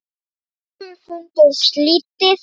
Þessum fundi er slitið.